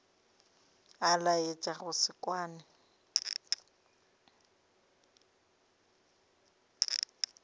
a laetša go se kwane